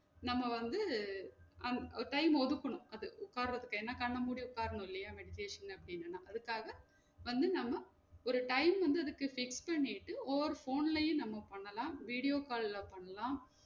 நம்ம வந்து ஹம் ஒரு time அ ஒதுக்கணும் அது உக்கரதுக்கு என்னா கண்ண மூடி உக்கரணம் இல்லையா meditation அப்டினா அதுக்கா வந்து நம்ம ஒரு time வந்து அதுக்கு fix பண்ணிட்டு over phone லையும் நம்ம பண்லாம் video கால்ல பண்லாம்